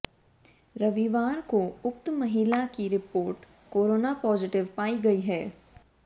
रविवार को उक्त महिला की रिपोर्ट कोरोना पॉजिटिव पाई गई है